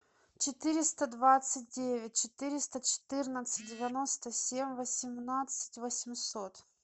четыреста двадцать девять четыреста четырнадцать девяносто семь восемнадцать восемьсот